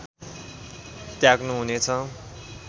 त्याग्नु हुने छ